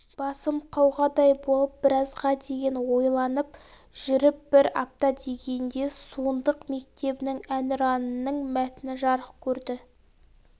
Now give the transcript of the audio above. басым қауғадай болып біразға дейін ойланып жүріп бір апта дегенде суындық мектебінің әнұранының мәтіні жарық көрді